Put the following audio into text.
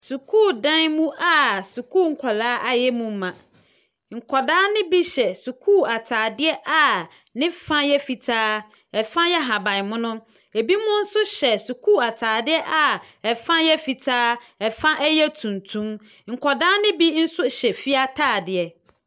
Sukuudan mu a sukuu nkɔla ayɛ mu ma. Nkɔda ne bi hyɛ sukuu ntadeɛ a ne fa yɛ fitaa. Ɛfa yɛ ahabanmono. Ebinom nso hyɛ sukuu ataadeɛ a ɛfa yɛ fitaa. Ɛfa ɛyɛ tuntum. Nkɔda be bi nso hyɛ fie ataadeɛ.